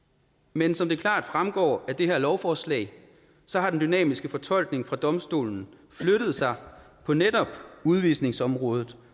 men som det klart fremgår af det her lovforslag har den dynamiske fortolkning fra domstolen flyttet sig på netop udvisningsområdet